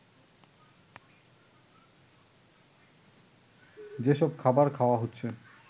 যেসব খাবার খাওয়া হচ্ছে